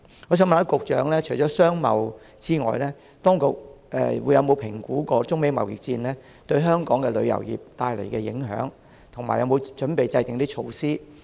我想問局長，當局有否評估中美貿易戰對香港旅遊業帶來的影響，以及有否準備制訂對應措施？